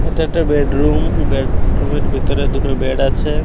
এটা একটা bedroom bedroom -এর ভিতরে দুটো বেড আছে।